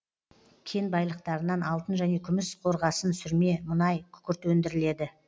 кен байлықтарынан алтын және күміс қорғасын сүрме мұнай күкірт өндіріледі